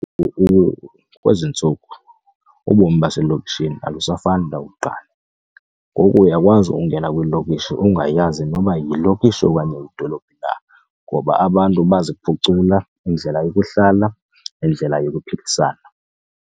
Kwezi ntsuku ubomi baselokishini akusafani nakuqala, ngoku uyakwazi ungena kwiilokishi ungayazi noba yilokishi okanye yidolophu na ngoba abantu baziphucula indlela yokuhlala nendlela yokuphilisana.